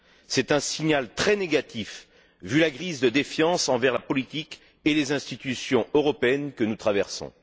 C'est un signal très négatif, vu la crise de défiance envers la politique et les institutions européennes que nous traversons.